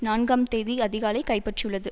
நான்காம் தேதி அதிகாலை கைப்பற்றியுள்ளது